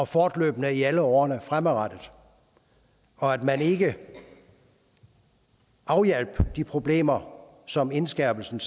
fortløbende i alle årene frem og at man ikke afhjalp de problemer som indskærpelserne